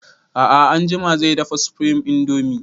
A'a anjima zai dafa supreme indomie